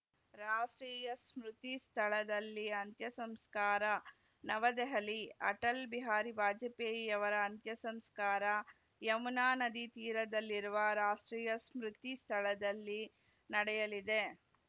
ರಾಷ್ಟ್ರೀಯ ಸ್ಮೃತಿ ಸ್ಥಳದಲ್ಲಿ ಅಂತ್ಯಸಂಸ್ಕಾರ ನವದೆಹಲಿ ಅಟಲ್‌ ಬಿಹಾರಿ ವಾಜಪೇಯಿಯವರ ಅಂತ್ಯ ಸಂಸ್ಕಾರ ಯಮುನಾ ನದಿ ತೀರದಲ್ಲಿರುವ ರಾಷ್ಟ್ರೀಯ ಸ್ಮೃತಿ ಸ್ಥಳದಲ್ಲಿ ನಡೆಯಲಿದೆ